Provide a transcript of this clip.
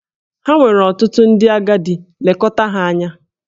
Ha nwere ọtụtụ ndị agadi, lekọta ha anya!